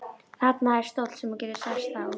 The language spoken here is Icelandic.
Þarna er stóll sem þú getur sest á.